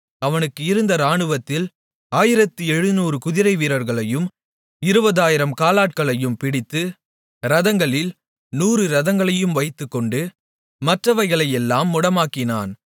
அவனுக்கு இருந்த இராணுவத்தில் 1700 குதிரைவீரர்களையும் 20000 காலாட்களையும் பிடித்து இரதங்களில் 100 இரதங்களை வைத்துக்கொண்டு மற்றவைகளையெல்லாம் முடமாக்கினான்